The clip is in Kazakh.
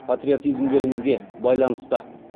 патриотизмдеріңізге байланысты